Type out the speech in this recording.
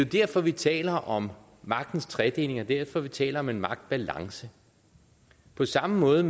derfor vi taler om magtens tredeling det er derfor vi taler om en magtbalance på samme måde